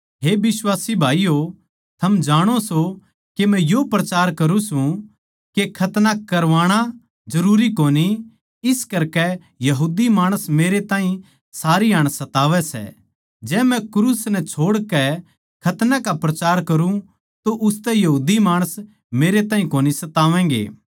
हे बिश्वासी भाईयो थम जाणो सों के मै यो प्रचार करुँ सूं के खतना करवाणा जरूरी कोनी इस करकै यहूदी माणस मेरे ताहीं सारी हाण सतावै सै जै मै क्रूस नै छोड़ कै खतना का प्रचार करुँ तो उसतै यहूदी माणस मेरे ताहीं कोनी सतावैगें